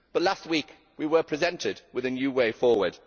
But last week we were presented with a new way forward.